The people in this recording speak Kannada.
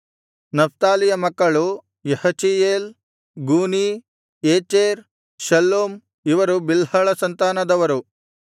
ನಫ್ತಾಲಿಯ ಮಕ್ಕಳು ಯಹಚಿಯೇಲ್ ಗೂನೀ ಯೇಚೆರ್ ಶಲ್ಲೂಮ್ ಇವರು ಬಿಲ್ಹಳ ಸಂತಾನದವರು